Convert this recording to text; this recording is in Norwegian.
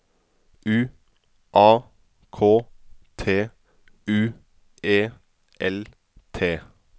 U A K T U E L T